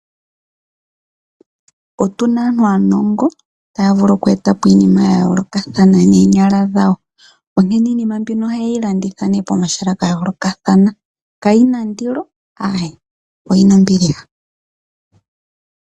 Otuna aantu aanongo taya vulu okweeta po iinima ya yooloka noonyala dhawo, onkene iinima mbino ohaye yi landitha ne po mahala ga yoolokathana kayina ndilo, ae oyina ombiliha.